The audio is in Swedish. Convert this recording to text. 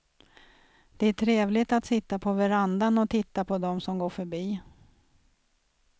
Det är trevligt att sitta på verandan och titta på dem som går förbi.